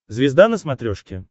звезда на смотрешке